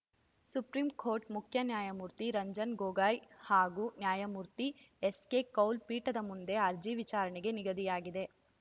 supreme court ಮುಖ್ಯ ನ್ಯಾಯಮೂರ್ತಿ ರಂಜನ್‌ ಗೊಗೋಯ್‌ ಹಾಗೂ ನ್ಯಾಯಮೂರ್ತಿ ಎಸ್‌ಕೆ ಕೌಲ್‌ ಪೀಠದ ಮುಂದೆ ಅರ್ಜಿ ವಿಚಾರಣೆಗೆ ನಿಗದಿಯಾಗಿದೆ